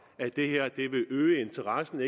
at det her vil øge interessen